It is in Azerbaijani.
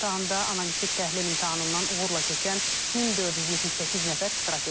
İmtahanda analitik təhlil imtahanından uğurla keçən 1478 nəfər iştirak edib.